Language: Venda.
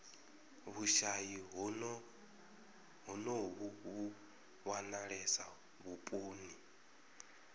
vhushayi honovhu vhu wanalesa vhuponi